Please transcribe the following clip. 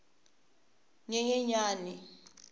nyenyenyani